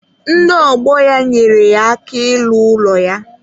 Ndị ọgbọ ya nyere ya aka ịlụ ụlọ ya.